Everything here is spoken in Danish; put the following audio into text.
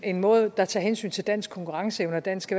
en måde der tager hensyn til dansk konkurrenceevne og dansk